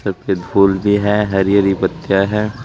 सफेद फूल भी है हरी हरी पत्तियां है।